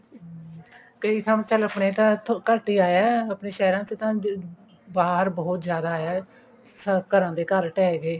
ਕਈ ਥਾਂਵਾਂ ਤੇ ਤਾਂ ਚਲ ਆਪਣੇ ਤਾਂ ਘੱਟ ਹੀ ਆਇਆ ਆਪਣੇ ਸਹਿਰਾਂ ਚ ਤਾਂ ਬਾਹਰ ਬਹੁਤ ਜਿਆਦਾ ਆਇਆ ਘਰਾਂ ਦੇ ਘਰ ਟੇਹ ਗਏ